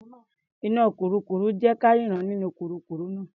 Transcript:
Iná kurúkurù ń jé ka rínran nínú kurúkurù náà.